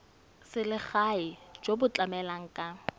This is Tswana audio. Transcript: selegae jo bo tlamelang ka